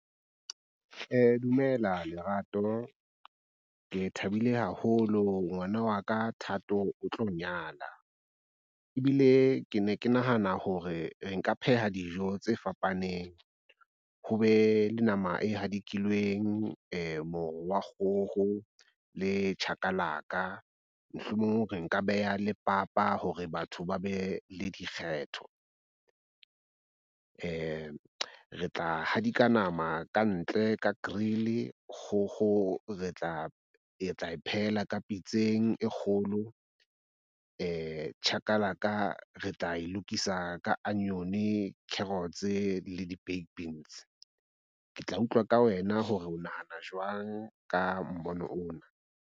Dumela Lerato. Ke thabile haholo ngwana wa ka Thato o tlo nyala ebile ke ne ke nahana hore nka pheha dijo tse fapaneng. Ho be le nama e hadikilweng, moro wa kgoho le chakalaka, mohlomong re nka beha le papa hore batho ba be le dikgetho. Re tla hadika nama ka ntle ka grill. Kgokgo re tla e tla e phehela ka pitseng e kgolo, chakalaka, re tla e lokisa ka onion-e, carrots le di baked beans. Ke tla utlwa ka wena hore o nahana jwang ka mmono ona.